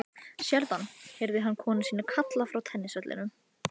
Sérðu hann? heyrði hann konu sína kalla frá tennisvellinum.